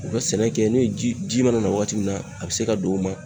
U be sɛnɛ kɛ n'o ye ji ji mana na waati min na a be se ka don o ma